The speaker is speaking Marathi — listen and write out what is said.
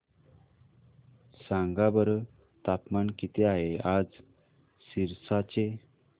सांगा बरं तापमान किती आहे आज सिरसा चे